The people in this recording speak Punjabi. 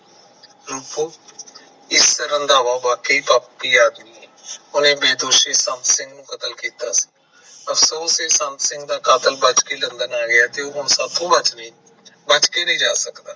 ਰੂਪੋ ਇਸ ਤਰਾਂ ਤਾ ਰੰਧਾਵਾ ਬਾਕੇ ਪਾਪੀ ਆਦਮੀ ਐ ਉਹਨੇ ਬੇਦੋਸ਼ੀ ਸੰਤ ਸਿੰਘ ਦਾ ਕਤਲ ਕੀਤਾ ਅਫਸੋਸ ਐ ਸੰਤ ਸਿੰਘ ਦਾ ਕਾਤਲ ਬਚ ਕੇ ਲੰਦਨ ਆ ਗਿਆ ਸੀ ਹੁਣ ਉਹ ਸਾਡੇ ਤੋਂ ਬਚ ਕੇ ਵਾਪਸ ਨਹੀਂ ਜਾ ਸਕਦਾ